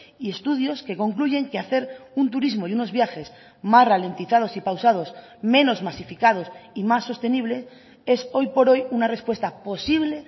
y estudios que concluyen que hacer un turismo y unos viajes más ralentizados y pausados menos masificados y más sostenible es hoy por hoy una respuesta posible